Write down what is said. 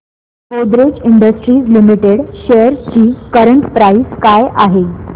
Godrej industries limited shares ची current price काय आहे